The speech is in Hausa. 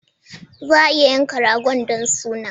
Za a yanka ragon don suna.